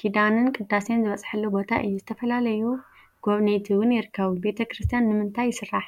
ኪዳንን ቅዳሴን ዝበፅሐሉ ቦታ እዩ፡፡ ዝተፈላለዩ ጎብነይቲ እውን ይርከቡ፡፡ ቤተ ክርስትያን ንምንታይ ይስራሕ?